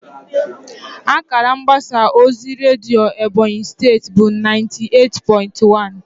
Akara mgbasa ozi redio Ebonyi State bụ naiti eight pointi wan